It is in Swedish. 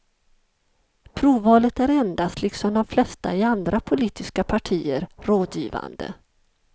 Provvalet är endast, liksom de flesta i andra politiska partier, rådgivande.